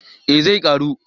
Eh zai karu